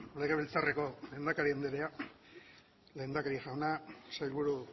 legebiltzarreko lehendakari andrea lehendakari jauna sailburu